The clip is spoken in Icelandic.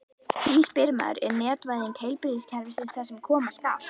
Því spyr maður: Er netvæðing heilbrigðiskerfisins það sem koma skal?